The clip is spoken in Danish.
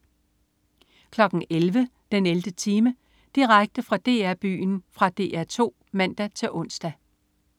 11.00 den 11. time. Direkte fra DR-Byen. Fra DR 2 (man-ons)